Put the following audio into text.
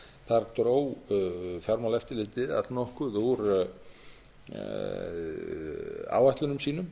þar til umfjöllunar þar dró fjármálaeftirlitið allnokkuð úr áætlunum sínum